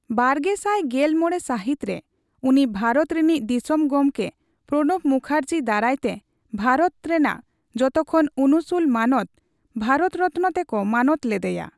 ᱵᱟᱨᱜᱮᱥᱟᱭ ᱜᱮᱞ ᱢᱚᱲᱮ ᱥᱟᱦᱤᱛ ᱨᱮ ᱩᱱᱤ ᱵᱷᱟᱨᱚᱛ ᱨᱤᱱᱤᱡ ᱫᱤᱥᱚᱢ ᱜᱚᱢᱠᱮ ᱯᱨᱚᱱᱚᱵ ᱠᱩᱠᱦᱚᱨᱡᱤ ᱫᱟᱨᱟᱭ ᱛᱮ ᱵᱷᱟᱨᱚᱛ ᱨᱮᱱᱟᱜ ᱡᱚᱴᱚᱠᱷᱚᱱ ᱩᱱᱩᱥᱩᱞ ᱢᱟᱱᱚᱛ, ᱵᱦᱟᱨᱚᱛ ᱨᱚᱛᱱᱚ ᱛᱮᱠᱚ ᱢᱟᱱᱚᱛ ᱞᱮᱫᱮᱭᱟ ᱾